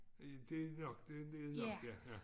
Øh det nok det det nok ja ja